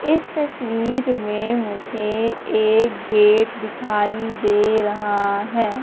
इस तस्वीर में मुझे एक गेट दिखाई दे रहा है।